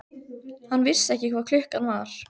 Hann vissi ekki hvað klukkan var.